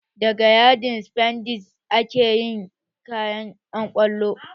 Daga yadin sifandes ake yin kayan ƴan kwallo